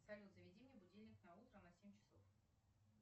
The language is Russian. салют заведи мне будильник на утро на семь часов